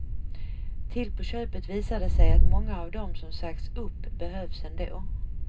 Till på köpet visar det sig att många av dem som sagts upp behövs ändå.